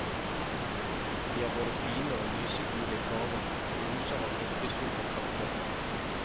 De er både fine og lysegule i farven og oser av riktig sukkerkvalitet.